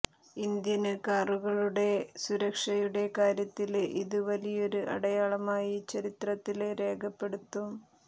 Indian കാറുകളുടെ സുരക്ഷയുടെ കാര്യത്തില് ഇത് വലിയൊരു അടയാളമായി ചരിത്രത്തില് രേഖപ്പെടുത്തും